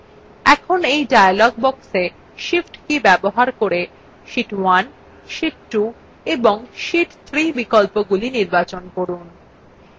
এখন এই dialog boxwe shift key ব্যবহার করে sheet 1 sheet 2 এবং sheet 3 বিকল্পগুলি নির্বাচন করুন